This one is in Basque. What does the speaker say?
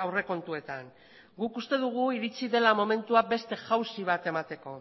aurrekontuetan guk uste dugu iritsi dela momentua beste jauzi bat emateko